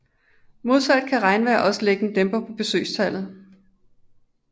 Modsat kan regnvejr også lægge en dæmper på besøgstallet